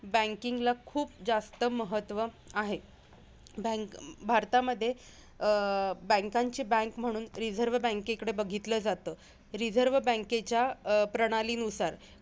Banking ला खूप जास्त महत्व आहे. Bank भारतामध्ये अं banks ची bank म्हणून रिझर्व बँकेकडे बघितलं जातं. रिझर्व बँकेच्या अं प्रणालीनुसार,